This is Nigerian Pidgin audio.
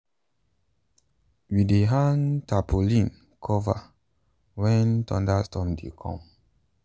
we dey hang tarpaulin cover when thunderstorm dey come.